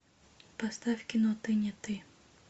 поставь кино ты не ты